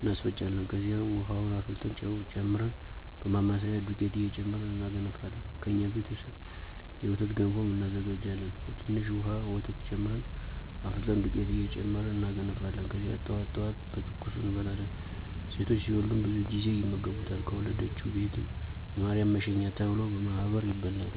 እናስፈጫለን ከዚያም፦ ዉሀዉን አፍልተን ጨዉ ጨምረን በማማሰያ <ዱቄት እየጨመርን እናገነፋለን>ከእኛ ቤተሰብ የወተት ገንፎም እናዘጋጃሀን በትንሽ ዉሀ ወተት ጨምረን አፍልተን ዱቄት እየጨመርን እናገነፋለን ከዚያ ጠዋት ጠዋት በትኩሱ እንበላለን። ሴቶች ሲወልዱም ብዙ ጊዜ ይመገቡታል ከወለደችዉ ቤትም <የማርያም መሸኛ ተብሎ>በማህበር ይበላል።